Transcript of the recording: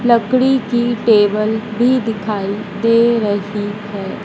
लकड़ी की टेबल भी दिखाई दे रही है।